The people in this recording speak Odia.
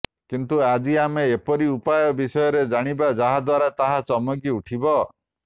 କିନ୍ତୁ ଆଜି ଆମେ ଏପରି ଉପାୟ ବିଷୟରେ ଜାଣିବା ଯାହା ଦ୍ବାରା ତାହା ଚମକି ଉଠିବ